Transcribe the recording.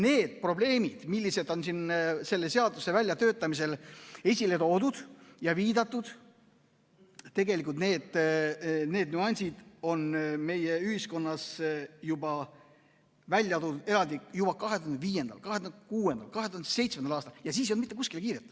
Need probleemid, mis on selle seaduse väljatöötamisel esile toodud ja millele viidatud, need nüansid tulid meie ühiskonnas eraldi välja juba 2005., 2006., 2007. aastal ja siis ei olnud mitte kuskile kiiret.